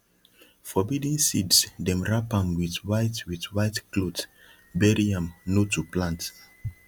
forbidden seeds dem wrap am with white with white cloth bury am no to plant